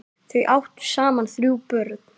Þau áttu saman þrjú börn.